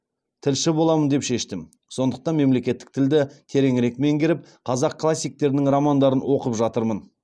тілші боламын деп шештім сондықтан мемлекеттік тілді тереңірек меңгеріп қазақ классиктерінің романдарын оқып жатырмын